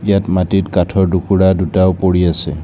ইয়াত মাটিত কাঠৰ দুকুৰা দুটাও পৰি আছে।